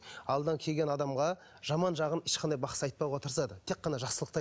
алдынан келген адамға жаман жағын ешқандай бақсы айтпауға тырысады тек қана жақсылықты